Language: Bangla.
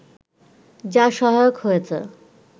যা সহায়ক হয়েছে